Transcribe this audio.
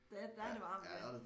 Der der er det varmt ja